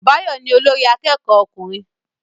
Báyọ̀ ni olórí akẹ́kọ̀ọ́ ọkùnrin